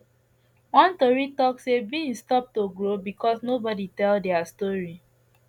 one tori talk say beans stop to grow because nobody tell their story